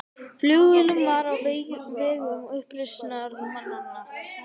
Flugvélin var á vegum uppreisnarmanna